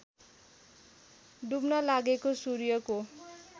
डुब्न लागेको सूर्यको